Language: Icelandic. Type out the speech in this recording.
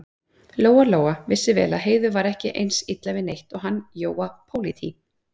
Lóa-Lóa vissi vel að Heiðu var ekki eins illa við neitt og hann Jóa pólití.